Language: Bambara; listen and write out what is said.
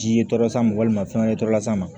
Jiye tɔɔrɔ san ma walima fɛn wɛrɛ tɔ las'a ma